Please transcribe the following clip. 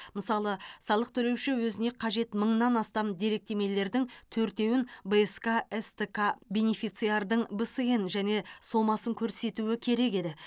мысалы салық төлеуші өзіне қажет мыңнан астам деректемелердің төртеуін бск стк бенефициардың бсн және сомасын көрсетуі керек еді